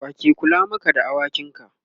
wake Kula Maka da awakin ka?